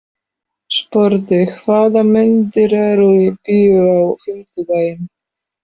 Sporði, hvaða myndir eru í bíó á fimmtudaginn?